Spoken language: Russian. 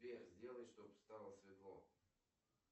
сбер сделай чтоб стало светло